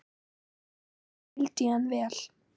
Mikið skildi ég hann vel.